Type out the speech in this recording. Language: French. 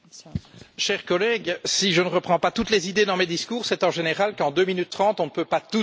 Cher collègue, si je ne reprends pas toutes les idées dans mes discours, c'est en général qu'en 2 minutes 30, on ne peut pas tout dire.